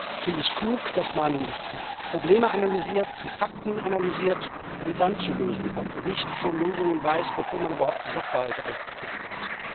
Ich finde es klug, dass man die Probleme analysiert, die Fakten analysiert und dann zu Lösungen kommt und nicht schon Lösungen weiß, bevor man überhaupt die Sachverhalte aufgeklärt hat.